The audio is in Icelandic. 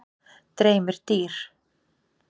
Dreymir dýr?